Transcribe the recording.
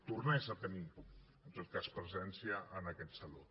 tornés a tenir en tot cas presència en aquest saló